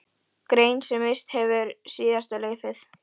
Grein sem misst hefur síðasta laufið.